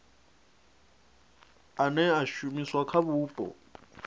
ane a shumiswa kha vhupo